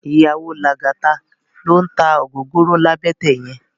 Iyàwó Lagata ló n tá ógógóró làbètè yèn